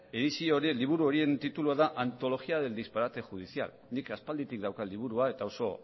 edizio horien liburu horien titulua da antologia del disparate judicial nik aspalditik daukat liburua eta oso